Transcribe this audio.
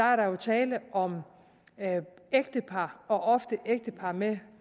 er der jo tale om ægtepar og ofte ægtepar med